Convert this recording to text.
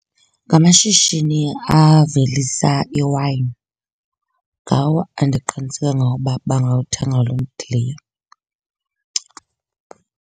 Ngamashishini avelisa iwayini. Ngawo endiqiniseke ngawo uba bangawuthenga lo mdiliya.